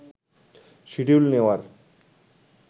schedule নেওয়ার